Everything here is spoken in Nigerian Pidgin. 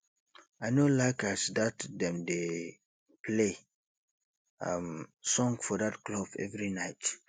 i no like as dat dem dey play um song for dat club every night